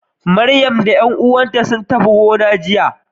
Maryam da ƴan uwanta sun tafi gonar jiya.